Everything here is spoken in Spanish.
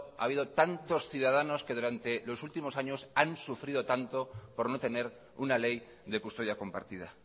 ha habido tantos ciudadanos que durante los últimos años han sufrido tanto por no tener una ley de custodia compartida